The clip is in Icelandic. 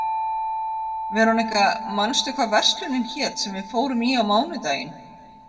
Veróníka, manstu hvað verslunin hét sem við fórum í á mánudaginn?